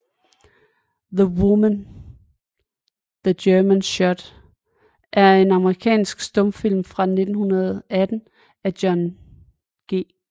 The Woman the Germans Shot er en amerikansk stumfilm fra 1918 af John G